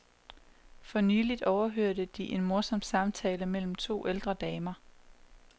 Fornyligt overhørte de en morsom samtale mellem to ældre damer.